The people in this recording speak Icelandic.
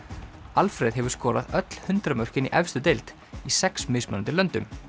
Alfreð hefur skorað öll hundrað mörkin í efstu deild í sex mismunandi löndum